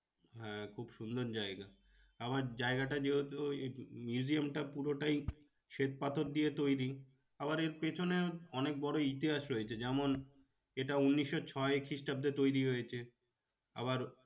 হ্যাঁ খুব সুন্দর জায়গা আমার জায়গাটা যেহেতু ওই museum টা পুরোটাই শ্বেত পাথর দিয়ে তৈরী। আবার এর পেছনে অনেক বড়ো ইতিহাস রয়েছে যেমন এটা উনিশশো ছয় খ্রিষ্টাব্দে তৈরী হয়েছে। আবার